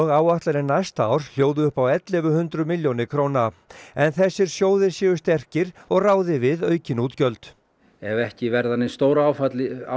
áætlanir næsta árs hljóði upp á ellefu hundruð milljónir króna en þessir sjóðir séu sterkir og ráði við aukin útgjöld ef ekki verða nein stóráföll í